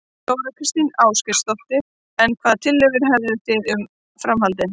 Þóra Kristín Ásgeirsdóttir: En hvaða tillögur hefðu þið um, um framhaldið?